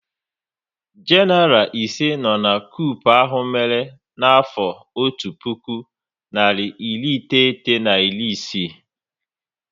Genaral ise no n' koup ahụ mere n'afọ otu puku narị iri iteghete na iri isii